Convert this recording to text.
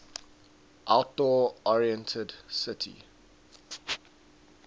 outdoor oriented city